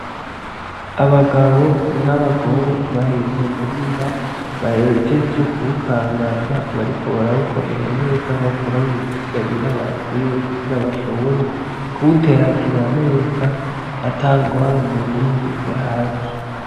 Abagabo n'abagore bari mu murima bahejeje ku wukangaza bariko barawukorera neza bawukuramwo ibisigarira bakuye kugira bashobore kuwuteragira neza atangorane n'imwe ihari.